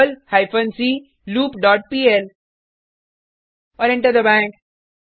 Perl hyphen c loop dot pl और enter दबाएँ